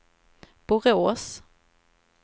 Borås